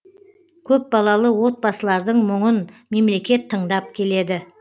көпбалалы отбасылардың мұңын мемлекет тыңдап келеді